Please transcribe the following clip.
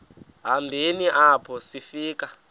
hambeni apho sifika